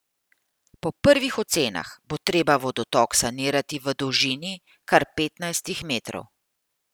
Po prvih ocenah bo treba vodotok sanirati v dolžini kar petnajstih metrov.